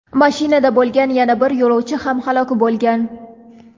mashinada bo‘lgan yana bir yo‘lovchi ham halok bo‘lgan.